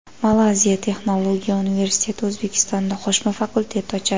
Malayziya Texnologiya universiteti O‘zbekistonda qo‘shma fakultet ochadi.